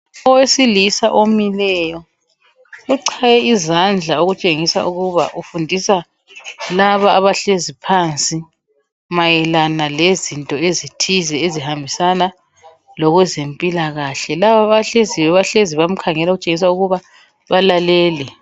Owesilisa omileyo uchaye izandla okutshengisa ukuba ufundisa laba abahlezi phansi, mayelana lezinto ezithize ezihambelanayo lokwezempilakahle. Laba abahleziyo, bahlezi bamkhangele okutshengisa ukuba bamlalele.